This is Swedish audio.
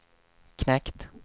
knekt